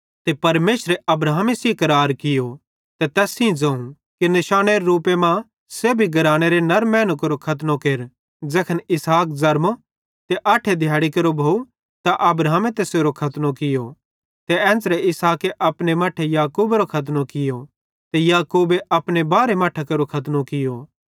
ते परमेशरे अब्राहमे सेइं करार कियो ते तैस सेइं ज़ोवं कि निशानेरे रूपे मां सेब्भी घरानेरे नर मैनू केरो खतनो केर ज़ैखन इसहाक ज़रमो ते अठे दिहैड़ी केरो भोव त अब्राहमे तैसेरो खतनो कियो ते एन्च़रे इसहाके अपने मट्ठे याकूबेरो खतनो कियो ते याकूबेरे अपने बारहे मट्ठां केरो खतनो कियो